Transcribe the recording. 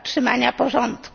utrzymania porządku.